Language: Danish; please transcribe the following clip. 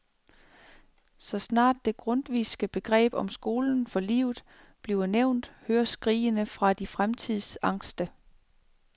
Så snart det grundtvigske begreb om skolen for livet bliver nævnt, høres skrigene fra de fremtidsangste.